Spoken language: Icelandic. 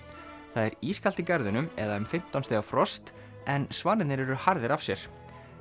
það er ískalt í garðinum eða um fimmtán stiga frost en svanirnir eru harðir af sér